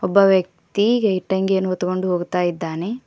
ಒಬ್ಬ ವ್ಯಕ್ತಿ ಇಟ್ಟಂಗಿಯನ್ನು ಹೊತ್ಕೊಂಡು ಹೋಗುತ್ತಾಯಿದ್ದಾನೆ.